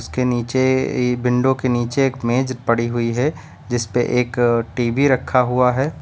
इसके नीचे ई विंडो के नीचे एक मेज पड़ी हुई है जिस पे एक टी_वी रखा हुआ है।